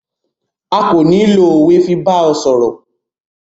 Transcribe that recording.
À ko ni lo owe lati ba ọ sọrọ̀.